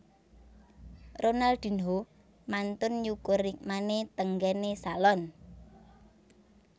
Ronaldinho mantun nyukur rikmane teng nggen e salon